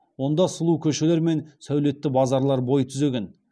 онда сұлу көшелер мен сәулетті базарлар бой түзеген